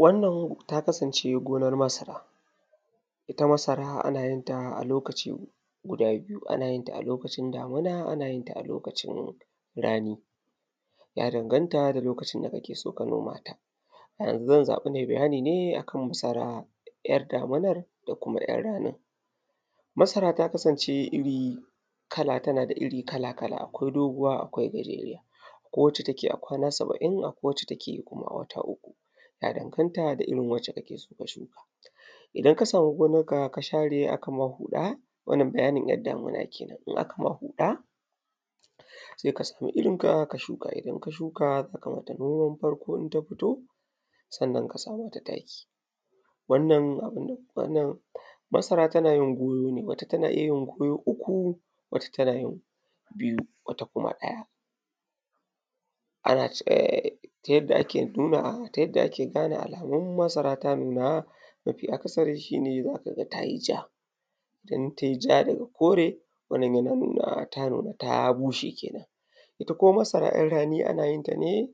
Wannan ta kasance gonar masara. Ita masara ana yin ta a lokaci guda biyu; ana yin ta a lokacin damuna ana yin ta a lokacin rani, ya danganta da lokacin da kake so ka noma ta. A yanzu zan zaɓi na yi bayani ne a kan masara 'yar damunar da kuma 'yar ranin. Masara ta kasance iri kala tana da iri kala-kala; akwai doguwa akwai gajeriya; akwai wacce take yi a kwana saba'in; akwai wacce take yi kuma a wata uku; ya danganta da irin wacce kake so ka shuka. Idan ka samu gonarka ka share aka ma huɗa, wannan bayani 'yar damuna ke nan, in aka ma huɗa sai ka samu irinka ka shuka. Idan ka shuka za ka mata noman farko, in ta fito sannan ka sa mata taki. Wannan abu na wannan, masara tana yin goyo ne, wata tana iya yin goyo uku; wata tana yin biyu; wata kuma ɗaya. Ana, ehn, ta yadda ake nuna ta yadda ake gane alamun masara ta nuna, mafi akasari shi ne za ka ga ta yi ja, in tai ja daga kore, wannan yana nuna ta nuna ta bushe ke nan. Ita kuma masara 'yar rani ana yin ta ne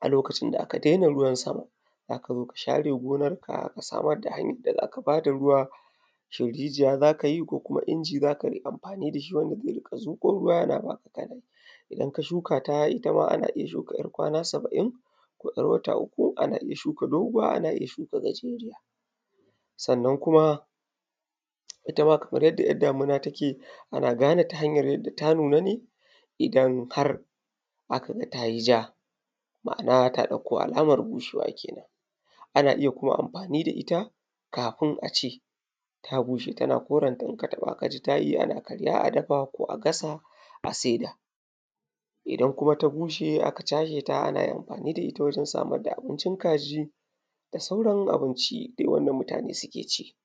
a lokacin da aka daina ruwan sama. Za ka zo ka share gonarka ka samar da hanyar da za ka ba da ruwa, shin rijiya za ka yi ko kuma inji za ka yi amfani da shi wanda zai riƙa zuƙo ruwa yana ba ka kana yi. In ka shuka ta ita ma ana iya shuka 'yar kwana saba'in, ko 'yar wata uku, ana iya shuka doguwa; ana iya shuka gajeriya; sannan kuma ita ma kamar yadda 'yar damuna take ana gane ta hanyar yadda ta nuna ne idan har aka ga ta yi ja, Ma'ana ta ɗauko alamar bushewa ke nan. Ana iya kuma amfani da ita, kafin a ce ta bushe tana korenta, in ka taɓa ka ji ta yi ana karya a dafa ko a gasa a saida. Idan kuma ta bushe aka cashe ta ana iya amfani da ita wajen samar da abincin kaji da sauran abinci dai wanda mutane suke ci.